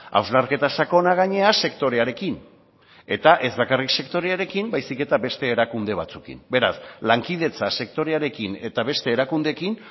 hausnarketa sakona gainera sektorearekin eta ez bakarrik sektorearekin baizik eta beste erakunde batzuekin beraz lankidetza sektorearekin eta beste erakundeekin